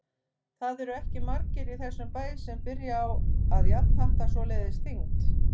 Það eru ekki margir í þessum bæ sem byrja á að jafnhatta svoleiðis þyngd.